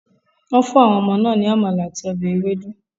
Wọ́n fún àwọn ọmọ náà ní amala àti ọbẹ̀ ewedu.